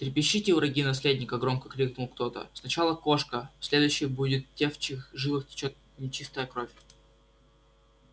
трепещите враги наследника громко крикнул кто-то сначала кошка следующий будет те в чьих жилах течёт нечистая кровь